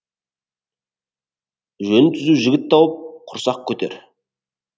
жөні түзу жігіт тауып құрсақ көтер